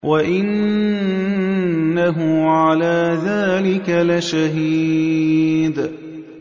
وَإِنَّهُ عَلَىٰ ذَٰلِكَ لَشَهِيدٌ